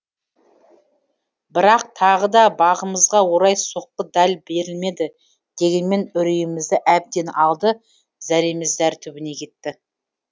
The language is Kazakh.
бірақ тағы да бағымызға орай соққы дәл берілмеді дегенмен үрейімізді әбден алды зәреміз зәр түбіне кетті